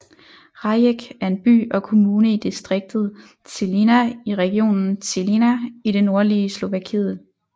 Rajec er en by og kommune i distriktet Žilina i regionen Žilina i det nordlige Slovakiet